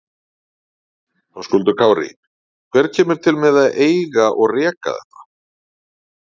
Höskuldur Kári: Hver kemur til með að eiga og reka þetta?